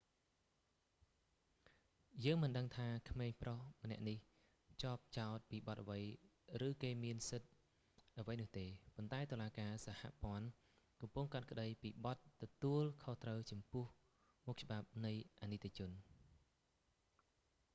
យើងមិនដឹងថាក្មេងប្រុសម្នាក់នេះជាប់ចោទពីបទអ្វី ឬក៏គេមានសិទ្ធិអ្វីនោះទេ ប៉ុន្តែតុលាការសហព័ន្ធកំពុងកាត់ក្តីពីបទទទួលខុសត្រូវចំពោះមុខច្បាប់នៃអនីតិជន